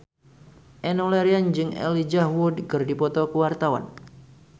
Enno Lerian jeung Elijah Wood keur dipoto ku wartawan